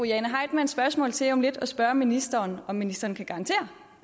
jane heitmanns spørgsmål til om lidt at spørge ministeren om ministeren kan garantere